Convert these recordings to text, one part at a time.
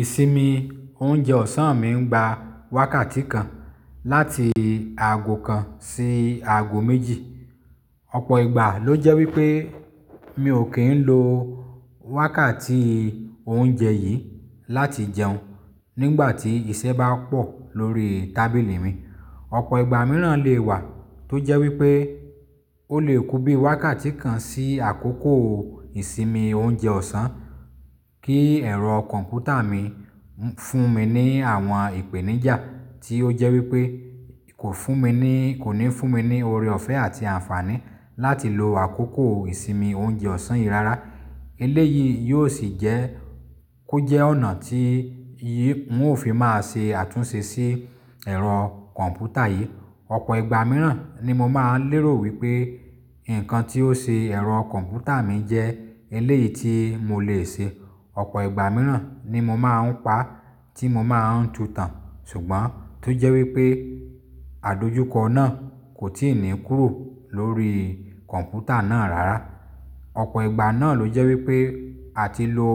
Ìsinmi oúnjẹ ọ̀sán mi ń gba wákàtí kan láti ààgọ̀ kan sí ààgọ̀ méjì. Ọ̀pọ̀ ìgbà ló jẹ́ wípé mi ò kí ń lo wákàtí oúnjẹ yìí láti jẹun nígbàtí iṣẹ́ bá pọ̀ lórí tábìlì mi. Ọ̀pọ̀ ìgbà mìíràn le wà tó jẹ́ wípé ó lè kú bí i wákàtí kan sí àkókò ìsinmi oúnjẹ ọ̀sán kí ẹ̀rọ kọ̀m̀pútà mi fún mi ní àwọn ìpèníjà tí ó jẹ́ wípé kò fún mi ní, kò ní fún mi ní oore ọ̀fẹ́ àti àǹfààní láti lo àkókò ìsinmi oúnjẹ ọ̀sán yìí rárá. Eléyìí yóò sì jẹ́ kó jẹ́ ọ̀nà tí yìí ń òfin máa ṣe àtúnṣe sí ẹ̀rọ kọ̀m̀pútà yìí. Ọ̀pọ̀ ìgbà mìíràn ni mo máa ń lérò wípé nǹkan tí ó ṣe ẹ̀rọ kọ̀m̀pútà mi jẹ́ eléyìí tí mo le ṣe. Ọ̀pọ̀ ìgbà mìíràn ni mo máa ń pa tí mo máa ń tu tán ṣùgbọ́n tó jẹ́ wípé àdojúkọ náà kò tíì ní kúrò lórí kọ̀m̀pútà náà rárá. Ọ̀pọ̀ ìgbà náà ló jẹ́ wípé àti lo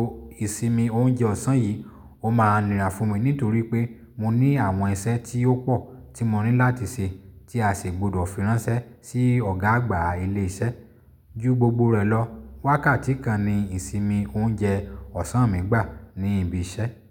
ìsinmi oúnjẹ ọ̀sán yìí ó máa nira fún mi nítorí pé mo ní àwọn iṣẹ́ tí ó pọ̀ tí mo ní láti ṣe tí a sì gbọdọ̀ fíránṣẹ́ sí ọ̀gá àgbà ilé iṣẹ́. Ju gbogbo rẹ̀ lọ, wákàtí kan ni ìsinmi oúnjẹ ọ̀sán mi gbà ní ibi iṣẹ́.